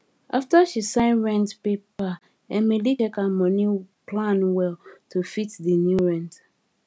after she sign rent paper emily check her money plan well to fit di new rent